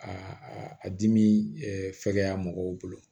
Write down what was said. A a dimi ɛ fɛgɛya mɔgɔw bolo